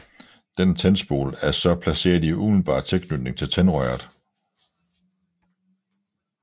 Denne tændspole er så placeret i umiddelbar tilknytning til tændrøret